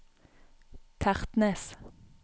Tertnes